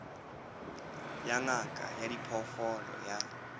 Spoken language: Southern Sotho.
ya ngaka ya diphoofolo ya